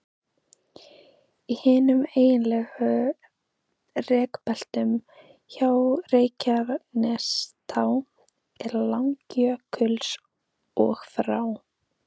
Í hinum eiginlegu rekbeltum, frá Reykjanestá til Langjökuls, og frá